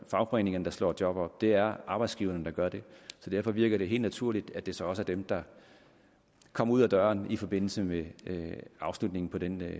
fagforeningerne der slår job op det er arbejdsgiverne der gør det derfor virkede det helt naturligt at det så var dem der kom ud af døren i forbindelse med afslutningen på den